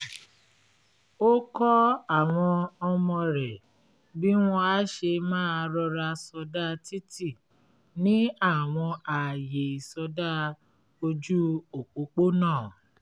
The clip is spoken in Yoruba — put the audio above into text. ó kọ́ àwọn ọmọ rẹ̀ bí wọ́n á ṣe máa rọra sọdá títí ní àwọn ààyè ìsọdá ójú òpópónà